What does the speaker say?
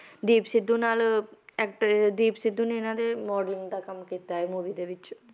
ਦੀਪ ਸਿੱਧੂ ਨਾਲ actor ਦੀਪ ਸਿੱਧੂ ਨੇ ਇਹਨਾਂ ਦੇ modeling ਦਾ ਕੰਮ ਕੀਤਾ ਇਹ movie ਦੇ ਵਿੱਚ,